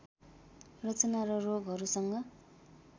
रचना र रोगहरूसँग